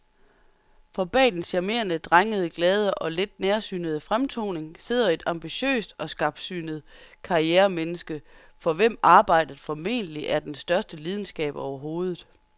For bag den charmerende, drengede, glade og lidt nærsynede fremtoning sidder et ambitiøst og skarpsynet karrieremenneske, for hvem arbejdet formentlig er den største lidenskab overhovedet.